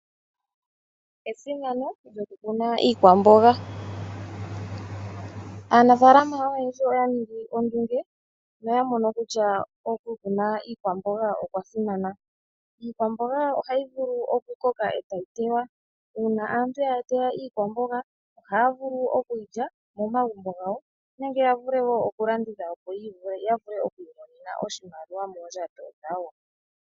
Esimano lyokukuna iikwamboga. Aanafaalama oyendji oya ningi ondunge na oya mono kutya okukuna iikwamboga okwasimana. Iikwamboga ohayi vulu okukoka etayi teywa, uuna aantu yateya iikwamboga ohaya vulu okulya momagumbo gawo nenge yavule wo okulanditha opo yavule okwiimonena oshimaliwa moondjato dhawo.